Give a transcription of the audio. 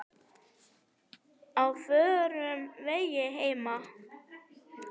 Á förnum vegi heima á